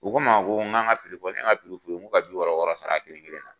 U ko n ma ko n ka n ka fɔ ne ye n ka f'u ye n k'o ka bi wɔɔrɔ wɔɔrɔ sara a kelen kelen na.